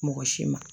Mɔgɔ si ma